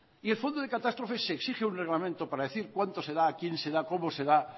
y el fondo de catástrofes exige un reglamento para decir cuánto se da a quién se da cómo se da